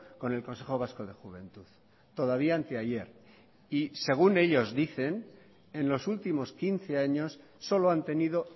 con el consejo vasco de juventud todavía anteayer y según ellos dicen en los últimos quince años solo han tenido